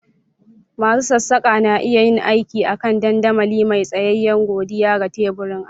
Masu sassaƙa na iya yin aiki a kan dandamali mai tsayayye godiya ga teburin aiki.